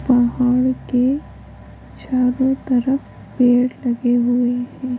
पहाड़ के चारो तरफ पेड़ लगे हुए है।